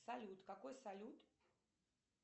салют какой салют